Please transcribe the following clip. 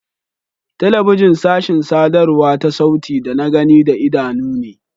Telebijin sashin sadarwa ta sauti da na gani da idanu ne.